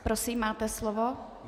Prosím, máte slovo.